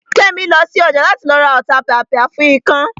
Kẹ́mi lọ sí ọjà láti lọ ra Ọ̀tapìàpìà fún ikán